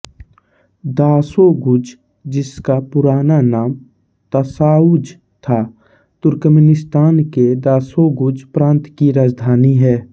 Dashoguz जिसका पुराना नाम ताशाउज़ था तुर्कमेनिस्तान के दाशोग़ुज़ प्रांत की राजधानी है